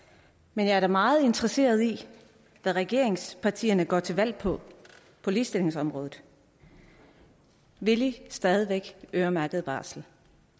men jeg er da meget interesseret i hvad regeringspartierne går til valg på på ligestillingsområdet vil i stadig væk øremærket barsel